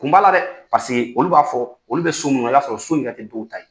Kun b'a la dɛ paseke olu b'a fɔ olu bɛ so min i b'a sɔrɔ o so in yɛrɛ tɛ dɔw ta ye.